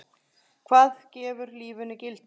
Hvað gefur lífinu gildi?